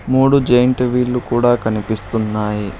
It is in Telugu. మూడు జెయింట్ వీళ్ళు కూడా కనిపిస్తున్నాయి.